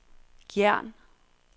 Gjern